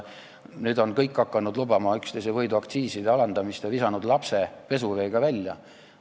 Nüüd on kõik hakanud üksteise võidu lubama aktsiiside alandamist ja visanud lapse koos pesuveega välja.